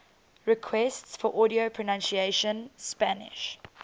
requests for audio pronunciation spanish